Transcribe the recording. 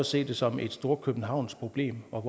se det som et storkøbenhavnsk problem og